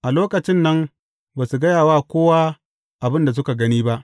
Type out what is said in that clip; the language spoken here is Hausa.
A lokacin nan, ba su gaya wa kowa abin da suka gani ba.